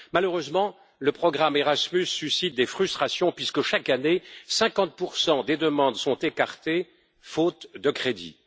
Malheureusement, le programme Erasmus suscite des frustrations puisque chaque année 50 des demandes sont écartées, faute de crédits.